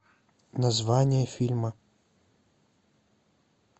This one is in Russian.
название фильма